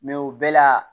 o bɛɛ la